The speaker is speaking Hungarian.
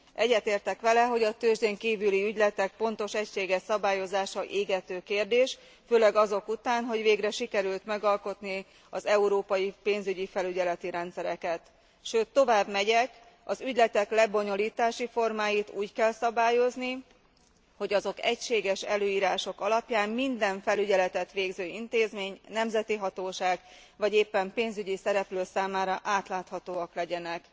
Egyetértek vele, hogy a tőzsdén kívüli ügyletek pontos, egységes szabályozása égető kérdés, főleg azok után, hogy végre sikerült megalkotni az európai pénzügyi felügyeleti rendszereket. Sőt, tovább megyek az ügyletek lebonyolításai formáit úgy kell szabályozni, hogy azok egységes előírások alapján minden felügyeletet végző intézmény, nemzeti hatóság vagy éppen pénzügyi szereplő számára átláthatóak legyenek!